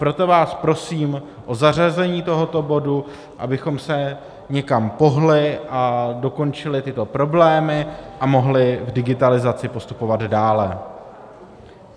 Proto vás prosím o zařazení tohoto bodu, abychom se někam pohnuli a dokončili tyto problémy a mohli v digitalizaci postupovat dále.